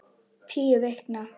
Tíu vikna